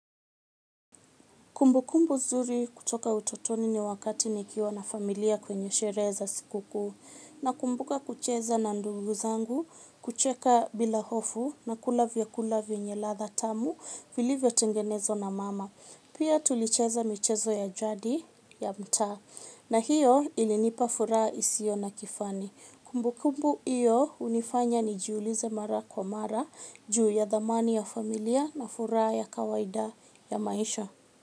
Kumbukumbu nzuri kutoka utotoni ni wakati nikiwa na familia kwenye sherehe za sikukuu. Nakumbuka kucheza na ndugu zangu, kucheka bila hofu na kula vyakula vyenye ladha tamu vilivyotengenezwa na mama. Pia tulicheza michezo ya jadi ya mtaa na hiyo ilinipa furaha isiyo na kifani. Kumbukumbu hiyo hunifanya nijiulize mara kwa mara juu ya dhamani ya familia na furaha ya kawaida ya maisha.